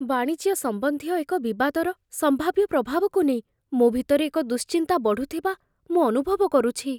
ବାଣିଜ୍ୟ ସମ୍ବନ୍ଧୀୟ ଏକ ବିବାଦର ସମ୍ଭାବ୍ୟ ପ୍ରଭାବକୁ ନେଇ ମୋ ଭିତରେ ଏକ ଦୁଶ୍ଚିନ୍ତା ବଢ଼ୁଥିବା ମୁଁ ଅନୁଭବ କରୁଛି।